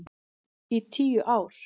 Í tíu ár.